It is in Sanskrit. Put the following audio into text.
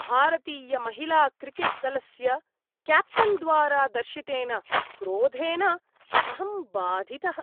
भारतीयमहिलाक्रिकेट्दलस्य क्याप्टेन्द्वारा दर्शितेन क्रोधेन अहं बाधितः।